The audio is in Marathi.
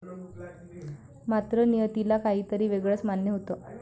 मात्र, नियतीला काहीतरी वेगळच मान्य होतं.